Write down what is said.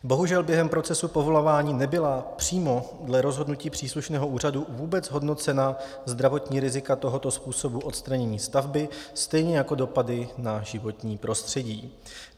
Bohužel během procesu povolování nebyla přímo dle rozhodnutí příslušného úřadu vůbec hodnocena zdravotní rizika tohoto způsobu odstranění stavby, stejně jako dopady na životní prostředí.